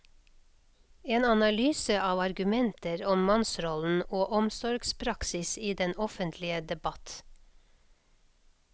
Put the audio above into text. En analyse av argumenter om mannsrollen og omsorgspraksis i den offentlige debatt.